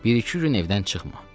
Bir-iki gün evdən çıxma.